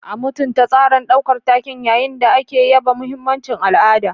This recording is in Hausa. A mutunta tsarin ɗaukar taken yayin da ake yaba mahimmancin al'ada.